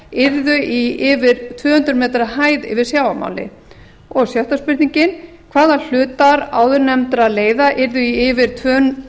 yrðu yfir í tvö hundruð metra hæð yfir sjávarmáli og sjötta spurningin hvaða hlutar áðurnefndra leiða yrðu í yfir